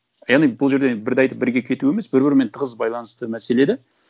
яғни бұл жерде бірді айтып бірге кету емес бір бірімен тығыз байланысты мәселе де